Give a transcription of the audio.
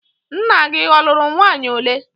Nna gị ọ lụrụ nwaanyị ole?